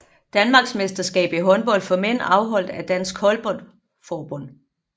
Danmarksmesterskab i håndbold for mænd afholdt af Dansk Håndbold Forbund